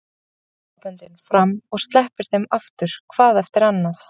Hann teygir axlaböndin fram og sleppir þeim aftur hvað eftir annað.